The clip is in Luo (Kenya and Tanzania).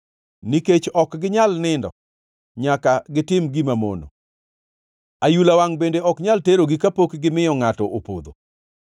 Nikech ok ginyal nindo nyaka gitim gima mono; ayula wangʼ bende ok nyal terogi kapok gimiyo ngʼato opodho.